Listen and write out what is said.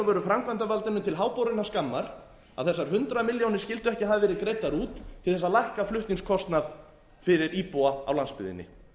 veru framkvæmdarvaldinu til háborinnar skammar að þessar hundrað milljónir skyldu ekki hafa verið greiddar út til þess að lækka flutningskostnað fyrir íbúa á landsbyggðinni